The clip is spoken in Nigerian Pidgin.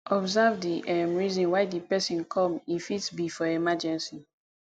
observe di um reason why di person come e fit be for emergency